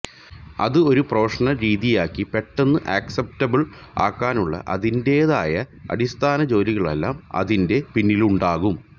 അത് ഒരു പ്രൊഫഷണല് രീതിയാക്കി പെട്ടെന്ന് അക്സപ്റ്റബിള് ആക്കാനുള്ള അതിന്റേതായ അടിസ്ഥാന ജോലികളെല്ലാം അതിന്റെ പിന്നിലുണ്ടാകും